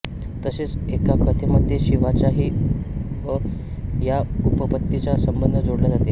तसेच एका कथेमध्ये शिवाचाही या उपपत्तीचा संबंध जोडला जाते